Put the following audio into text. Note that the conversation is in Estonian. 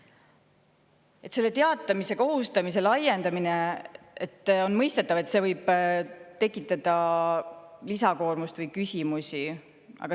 On mõistetav, et teatamise kohustuse laiendamine võib tekitada lisakoormust või küsimusi.